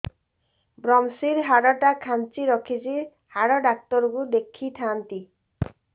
ଵ୍ରମଶିର ହାଡ଼ ଟା ଖାନ୍ଚି ରଖିଛି ହାଡ଼ ଡାକ୍ତର କୁ ଦେଖିଥାନ୍ତି